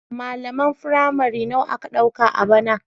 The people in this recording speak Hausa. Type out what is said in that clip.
Malaman firamare nawa aka ɗauka a bana?